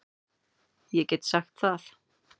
Ég get sagt það.